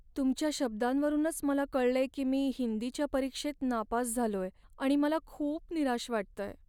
तुमच्या शब्दांवरूनच मला कळलंय की मी हिंदीच्या परीक्षेत नापास झालोय आणि मला खूप निराश वाटतंय.